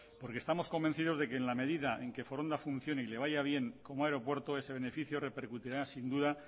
porque estamos convencido de que en la medida en que foronda funcione y le vaya bien como aeropuerto ese beneficio repercutirá sin duda